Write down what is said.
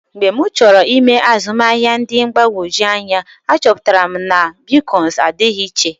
Mgbe m chọrọ ịme azụmahịa dị mgbagwoju anya, achọpụtara m na bitkọịn adịghị iche.